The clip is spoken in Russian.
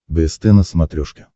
бст на смотрешке